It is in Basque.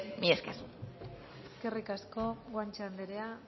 mila esker eskerrik asko guanche anderea